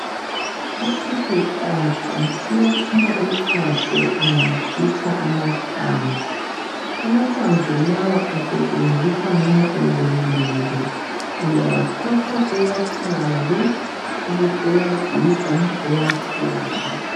Lesi sihlahla siyaphuma uchago ungasikha amahlamvu. Amahlamvu lawa asetshenziswa nxa ewomile. Uyawathatha uwachaye, ubusuwagiga uwachole.